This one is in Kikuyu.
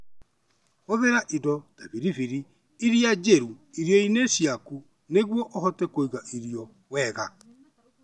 Hũthĩra indo ta biribiri iria njirũ irio-inĩ ciaku nĩguo ũhote kũiga irio wega.